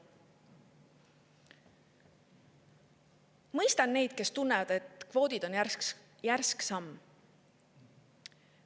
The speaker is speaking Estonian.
Mõistan neid, kes tunnevad, et kvoodid on järsk samm.